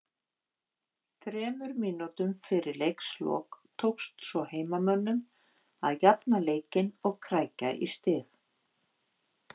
Þremur mínútum fyrir leiks lok tókst svo heimamönnum að jafna leikinn og krækja í stig